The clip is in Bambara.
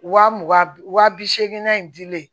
Wa mugan wa bi seeginna in dilen